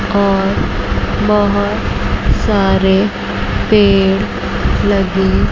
और बहोत सारे पेड़ लगी--